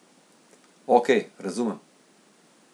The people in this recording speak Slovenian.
Okej, razumem.